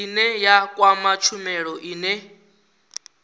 ine ya kwama tshumelo ine